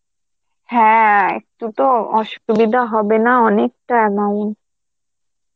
হ্যাঁ একটু তো অসুবিধা হবে না, অনেকটা নাউন.